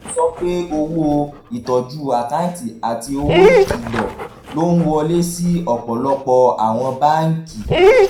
ó sọ pé owó ìtọ́jú àkáǹtì àti owó ìkìlọ̀ ló ń wọlé sí ọ̀pọ̀lọpọ̀ àwọn báńkì